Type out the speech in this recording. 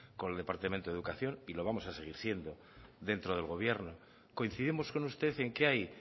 con el departamento de educación y lo vamos a seguir siendo dentro del gobierno coincidimos con usted en que hay